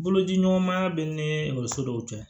Boloci ɲɔgɔn maya bɛ ni ekɔliso dɔw cɛ